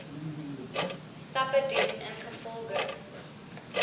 stappe doen ingevolge